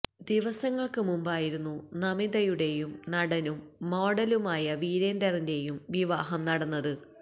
ദിവസങ്ങള്ക്ക് മുമ്പായിരുന്നു നമിതയുടെയും നടനും മോഡലുമായ വീരേന്ദറിന്റെയും വിവാഹം നടന്നത്